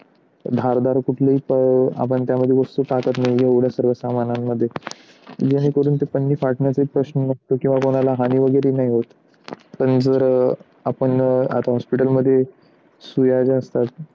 धारदार कुठल्या आपण त्यामध्ये वस्तू टाकत नाही एवढं सगळं सामान्यांमध्ये जेणेकरून ते पण मी फाटण्याचे प्रश्न किंवा कोणाला हाणी वगैरे नाही होत पण जर आपण आता hospital मध्ये सोया ज्या असतात.